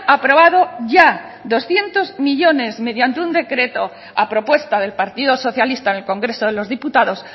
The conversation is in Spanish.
aprobado ya doscientos millónes mediante un decreto a propuesta del partido socialista en el congreso de los diputados